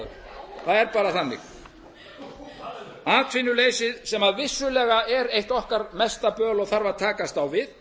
er notaður það er bara þannig atvinnuleysið sem vissulega er eitt okkar mesta böl og þarf að takast á við